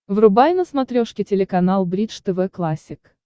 врубай на смотрешке телеканал бридж тв классик